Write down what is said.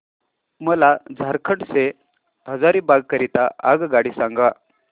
मला झारखंड से हजारीबाग करीता आगगाडी सांगा